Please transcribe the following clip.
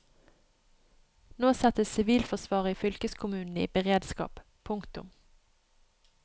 Nå settes sivilforsvaret i fylkeskommunene i beredskap. punktum